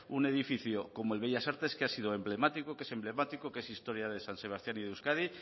un edificio como el bellas artes que ha sido emblemático que es emblemático que es historia de san sebastián y de euskadi